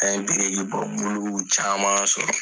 An ye biriki bɔ muluw caman sɔrɔ.